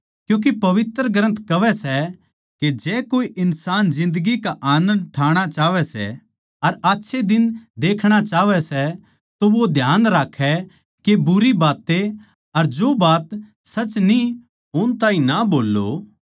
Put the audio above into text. क्यूँके पवित्र ग्रन्थ कहवै सै के जै कोए इन्सान जिन्दगी का आनन्द ठाणा चाहवै सै अर आच्छे दिन देखणा चाहवै सै तो वो ध्यान राक्खे के बुरी बातें अर जो बात सच न्ही उन ताहीं ना बोल्लो